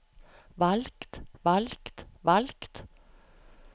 valgt valgt valgt